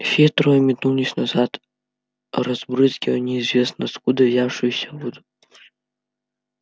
все трое метнулись назад разбрызгивая неизвестно откуда взявшуюся воду